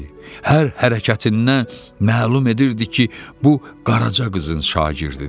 Hər hərəkətindən məlum edirdi ki, bu qaraca qızın şagirdidir.